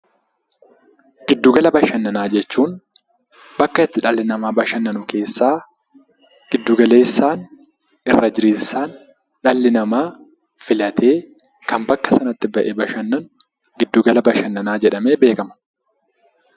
Giddugala bashannanaa jechuun bakka itti dhalli namaa bashannanu keessaa, giddu galeessaan, irra jireessaan dhalli namaa filatee kan bakka sanatti bahee bashannanu 'Giddugala bashannanaa' jedhamee beekama.